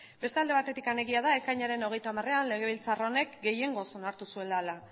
beste alde batetik egia da ekainaren hogeita hamarean legebiltzar honek gehiengoz onartu zuela